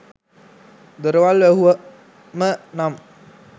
දොරවල් වැහුවම නම්